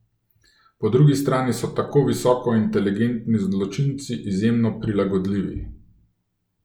Po drugi strani so tako visoko inteligentni zločinci izjemno prilagodljivi.